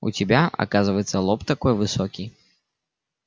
у тебя оказывается лоб такой высокий